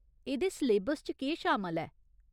एह्दे सलेबस च केह् शामल ऐ ?